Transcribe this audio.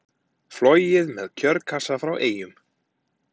Flogið með kjörkassa frá Eyjum